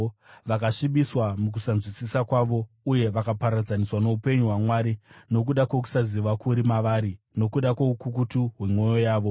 Vakasvibiswa mukunzwisisa kwavo uye vakaparadzaniswa noupenyu hwaMwari nokuda kwokusaziva kuri mavari nokuda kwoukukutu hwemwoyo yavo.